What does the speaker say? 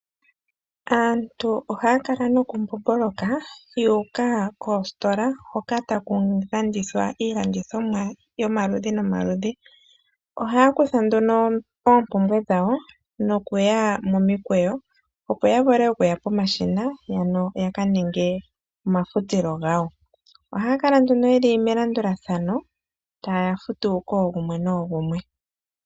Aantu ohaya kala nokumbomboloka yuuka koositola hoka taku landithwa iilandithomwa ya yomaludhi nomaludhi ohaya kutha nduno oompumbwe dhawo nokuya momikweyo, opo ya vule okuya pomashina mpoka ya ka ninge omafutilo gawo. Ohaya Kala nduno nduno yeli momikweyo taya futu koogumwe noogumwe.